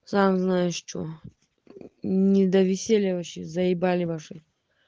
сам знаешь что не до веселья вообще заебали ваши